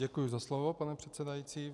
Děkuji za slovo, pane předsedající.